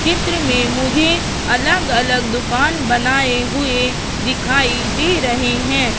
चित्र में मुझे अलग अलग दुकान बनाए हुए दिखाई दे रहे हैं।